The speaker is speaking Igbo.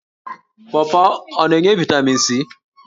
Pọọpọọ ọ na-enye vaịtamin c?